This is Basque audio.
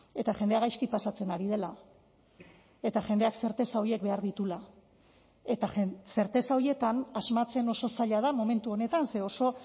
eta jendea gaizki pasatzen ari dela eta jendeak zerteza horiek behar dituela eta zerteza horietan asmatzen oso zaila da momentu honetan ze oso